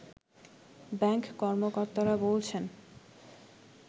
bank কর্মকর্তারা বলছেন